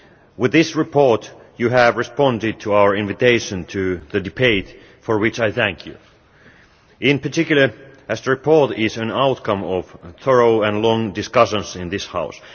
With this report you have responded to our invitation to the debate, for which I thank you, in particular as the report is the outcome of thorough and long discussions in this House.